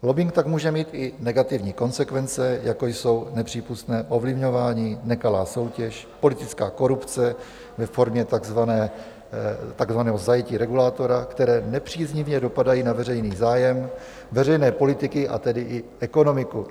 Lobbing tak může mít i negativní konsekvence, jako jsou nepřípustné ovlivňování, nekalá soutěž, politická korupce ve formě takzvaného zajetí regulátora, které nepříznivě dopadají na veřejný zájem, veřejné politiky, a tedy i ekonomiku.